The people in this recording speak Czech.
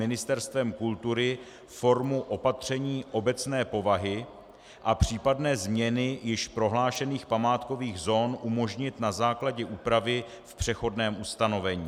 Ministerstvem kultury formu opatření obecné povahy a případné změny již prohlášených památkových zón umožnit na základě úpravy v přechodném ustanovení.